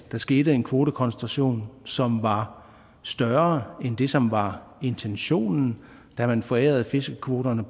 skete en kvotekoncentration som var større end det som var intentionen da man forærede fiskekvoterne